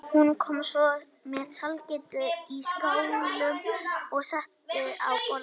Hún kom svo með sælgætið í skálum og setti á borðið.